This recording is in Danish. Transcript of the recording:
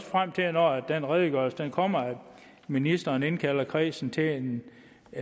frem til når redegørelsen kommer at ministeren indkalder kredsen til en